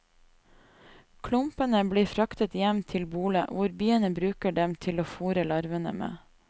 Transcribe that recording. Klumpene blir fraktet hjem til bolet, hvor biene bruker dem til å fôre larvene med.